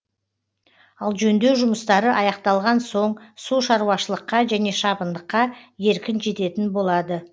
ал жөндеу жұмыстары аяқталған соң су шаруашылыққа және шабындыққа еркін жететін болады